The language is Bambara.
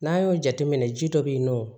N'an y'o jateminɛ ji dɔ bɛ yen nɔ